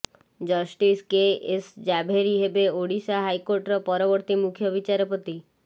justice K S Jhaveri ହେବେ ଓଡ଼ିଶା ହାଇକୋର୍ଟର ପରବର୍ତ୍ତୀ ମୁଖ୍ୟବିଚାରପତି